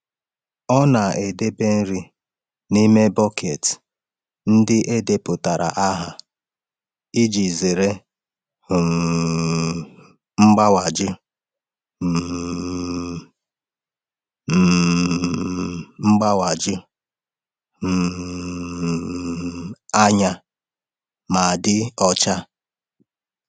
Ọ na-edebe nri n’ime bọket ndị e depụtara aha iji zere um mgbawaju um um mgbawaju um anya ma dị ọcha.